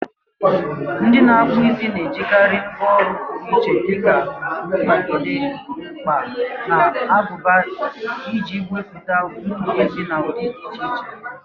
Ndị na-akpụ isi na-ejikarị ngwá ọrụ pụrụ iche dika mkpagide, mkpa, na aguba iji mepụta ntutu isi na ụdị dị iche iche.